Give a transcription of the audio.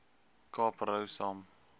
kaap rou saam